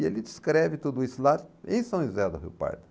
E ele descreve tudo isso lá em São José do Rio Pardo.